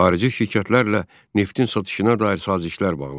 Xarici şirkətlərlə neftin satışına dair sazişlər bağlandı.